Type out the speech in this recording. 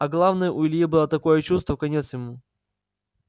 а главное у ильи было такое чувство конец ему